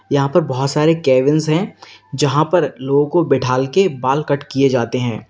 यहां पर बहोत सारे केबिंस हैं जहां पर लोगों को बिठाल के बाल कट किए जाते हैं।